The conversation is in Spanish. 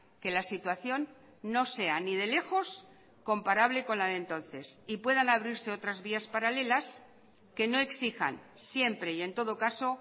que la situación no sea ni de lejos comparable con la de entonces y puedan abrirse otras vías paralelas que no exijan siempre y en todo caso